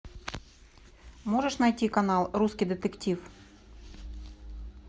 можешь найти канал русский детектив